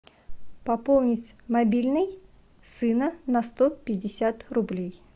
пополнить мобильный сына на сто пятьдесят рублей